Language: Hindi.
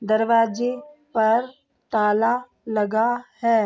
दरवाजे पर ताला लगा है।